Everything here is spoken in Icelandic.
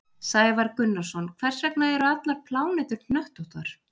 Sævar Gunnarsson: Hvers vegna eru allar plánetur hnöttóttar?